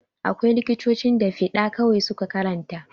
Akwai likitocin da fiɗa kawai su ka karanta.